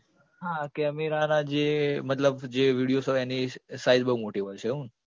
હા camera ના જે મતલબ જે videos હોય એની size બોઉં મોટી હોય છે એવું ને